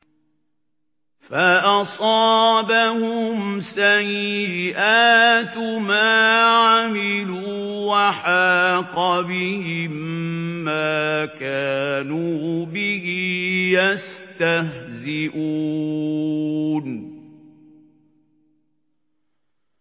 فَأَصَابَهُمْ سَيِّئَاتُ مَا عَمِلُوا وَحَاقَ بِهِم مَّا كَانُوا بِهِ يَسْتَهْزِئُونَ